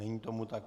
Není tomu tak.